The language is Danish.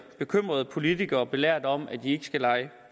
bekymrede politikere belært om at de ikke skal lege